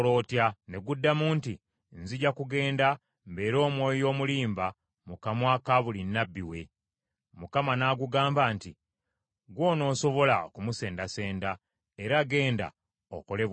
“Ne guddamu nti, ‘Nzija kugenda, mbeere omwoyo omulimba mu kamwa ka buli nnabbi we.’ “ Mukama n’agugamba nti, ‘Ggwe onoosobola okumusendasenda, era genda okole bw’otyo.’